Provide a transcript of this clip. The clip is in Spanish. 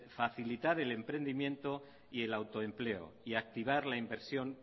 facilitar el emprendimiento y el autoempleo y activar la inversión